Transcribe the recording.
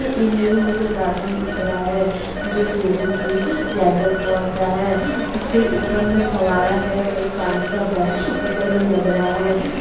ये इमेज में मुझे ए गार्डन दिख रहा है जो स्विमिंग पूल जैसा थोड़ा सा है फिर ऊपर में फव्वारा है वही पानी बेह ऊपर मे लग रहा है।